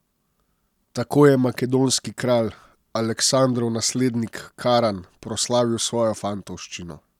Tako je makedonski kralj, Aleksandrov naslednik Karan, proslavil svojo fantovščino.